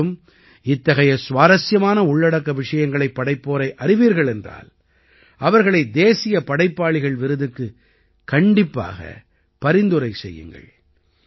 நீங்களும் இத்தகைய சுவாரசியமான உள்ளடக்க விஷயங்களைப் படைப்போரை அறிவீர்கள் என்றால் அவர்களை தேசியப் படைப்பாளிகள் விருதுக்குக் கண்டிப்பாக பரிந்துரை செய்யுங்கள்